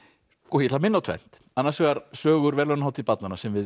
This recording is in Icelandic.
ég ætla að minna á tvennt annars vegar sögur verðlaunahátíð barnanna sem við